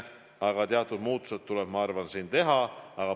Aga teatud muudatused tuleb teha.